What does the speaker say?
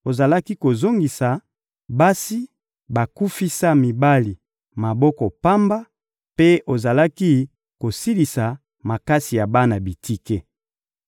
ozalaki kozongisa basi bakufisa mibali maboko pamba, mpe ozalaki kosilisa makasi ya bana bitike.